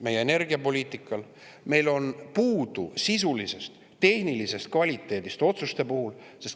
Meil on otsuste tegemisel puudu sisulisest, tehnilisest kvaliteedist.